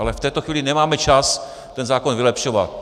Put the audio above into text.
Ale v této chvíli nemáme čas ten zákon vylepšovat.